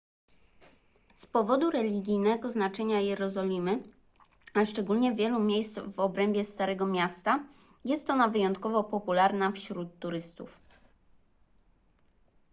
z powodu religijnego znaczenia jerozolimy a szczególnie wielu miejsc w obrębie starego miasta jest ona wyjątkowo popularna wśród turystów